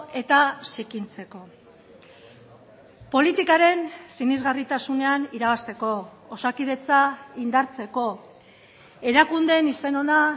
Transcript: eta zikintzeko politikaren sinesgarritasunean irabazteko osakidetza indartzeko erakundeen izen ona